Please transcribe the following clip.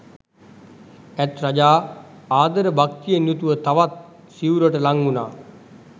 ඇත් රජා ආදර භක්තියෙන් යුතුව තවත් සිවුරට ළං වුනා.